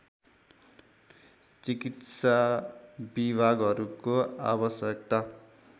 चिकित्सा विभागहरूको आवश्यकता